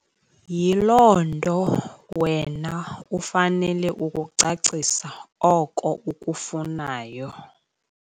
Yiloo nto wena ufanele ukukucacisa oko ukufunayo.